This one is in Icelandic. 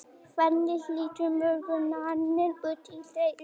hvernig lítur morgundagurinn út í reykjavík